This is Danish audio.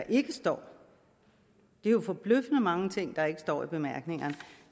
ikke står det er jo forbløffende mange ting der ikke står i bemærkningerne